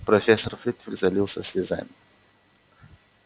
профессор флитвик залился слезами